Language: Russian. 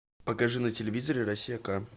покажи на телевизоре россия к